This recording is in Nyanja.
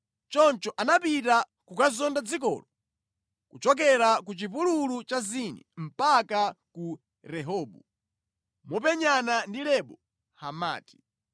Choncho anapita kukazonda dzikolo kuchokera ku chipululu cha Zini mpaka ku Rehobu, mopenyana ndi Lebo Hamati.